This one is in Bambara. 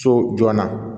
So joona